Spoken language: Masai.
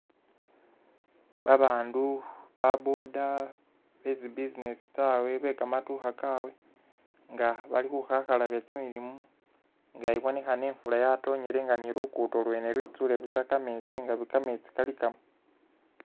Babandu ba'boda betsi'business tsabwe bekamandukha kabwe nga bali khukhakhalabya kyimilimo nga ibonekhana ifula yatonyele nga ni'luguddo lwene lwetsule kametsi nga kametsi kalikamo.